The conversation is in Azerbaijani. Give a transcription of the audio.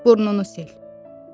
Burnunu sil.